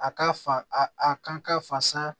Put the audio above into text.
A ka fa a kan ka fasa